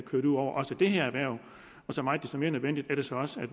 så meget desto mere nødvendigt er det så også at